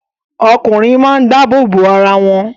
Ọkùnrin máa ń dáàbòbò arawọn